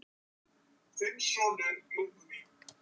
Þinn sonur, Lúðvík.